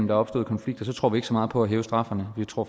der opstår konflikter så tror vi ikke så meget på at hæve straffen vi tror